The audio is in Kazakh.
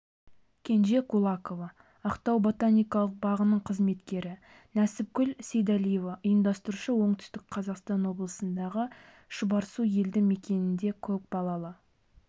кенже кулакова ақтау ботаникалық бағының қызметкері несіпкүл сейдалиева ұйымдастырушы оңтүстік қазақстан облысындағы шұбарсу елді мекенінде көпбалалы